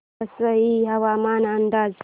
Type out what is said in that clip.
वसई हवामान अंदाज